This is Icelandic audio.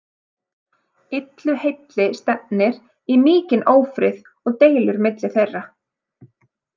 Illu heilli stefnir í mikinn ófrið og deilur milli þeirra.